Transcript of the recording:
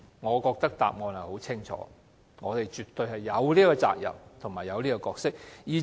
我認為答案很清楚，便是我們絕對有責任和角色。